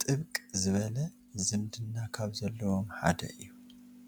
ጥብቅ ዝበለ ዝምድና ካብ ዘለዎም ሓደ እዩ።